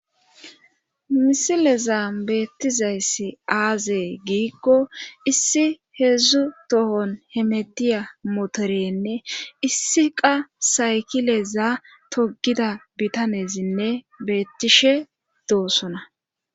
misileza beettizayssi aazee giikko issi heedzdzu tohon hemetiya motorenne issi qa saykileza togida bitanezinne beettishe doosona